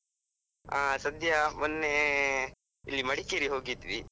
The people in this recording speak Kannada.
ಆ ಸದ್ಯ, ಮೊನ್ನೆ ಇಲ್ಲಿ ಮಡಿಕೇರಿ ಹೋಗಿದ್ವಿ.